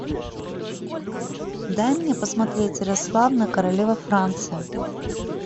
дай мне посмотреть ярославна королева франции